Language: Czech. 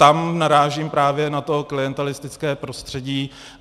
Tam narážím právě na to klientelistické prostředí.